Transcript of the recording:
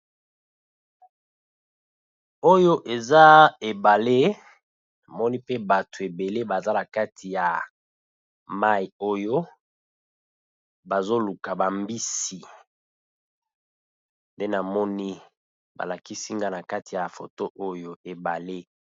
Oyo eza ebale, namoni pe bato ebele baza na kati ya mayi oyo bazo luka ba mbisi nde namoni ba lakisi nga na kati ya foto oyo ebale.